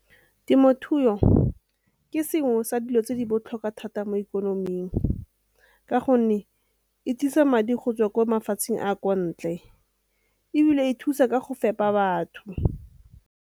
Temothuo ke sengwe sa dilo tse di botlhokwa thata mo ikonoming ka gonne e tlisa madi go tswa kwa mafatsheng a ko ntle ebile e thusa ka go fepa batho.